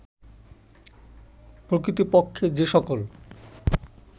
প্রকৃতপক্ষে যে সকল